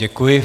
Děkuji.